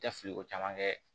Tɛ fili ko caman kɛ